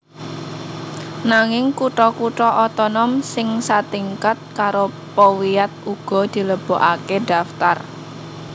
Nanging kutha kutha otonom sing satingkat karo powiat uga dilebokaké daftar